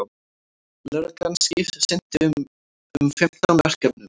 Lögreglan sinnti um fimmtán verkefnum